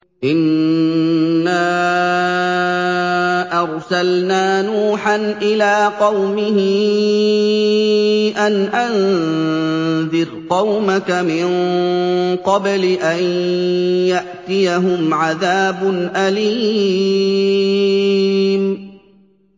إِنَّا أَرْسَلْنَا نُوحًا إِلَىٰ قَوْمِهِ أَنْ أَنذِرْ قَوْمَكَ مِن قَبْلِ أَن يَأْتِيَهُمْ عَذَابٌ أَلِيمٌ